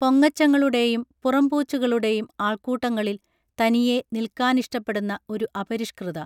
പൊങ്ങച്ചങ്ങളുടേയും പുറംപൂച്ചുകളുടേയും ആൾക്കൂട്ടങ്ങളിൽ തനിയെ നിൽക്കാനിഷ്ടപ്പെടുന്ന ഒരു അപരിഷ്കൃത